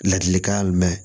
Ladilikan mɛn